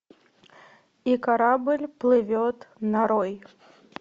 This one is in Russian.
и корабль плывет нарой